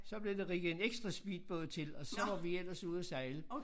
Så blev der rigget en ekstra speedbåd til og så var vi ellers ude og sejle